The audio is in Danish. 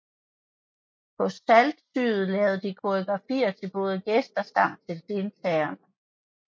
På SYTYCD lavede de koreografier til både gæster samt til deltagerne